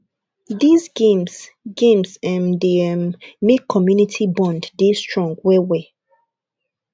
these games games um dey um make community bond dey strong well well